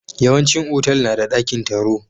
Yawan cin Otal nada dakin taro